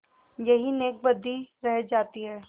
यही नेकबदी रह जाती है